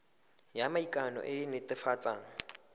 ya maikano e e netefatsang